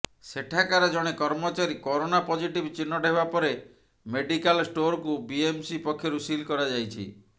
ସେଠାକାର ଜଣେ କର୍ମଚାରୀ କରୋନା ପଜିଟିଭ ଚିହ୍ନଟ ହେବା ପରେ ମେଡିକାଲ ଷ୍ଟୋରକୁ ବିଏମ୍ସି ପକ୍ଷରୁ ସିଲ୍ କରାଯାଇଛି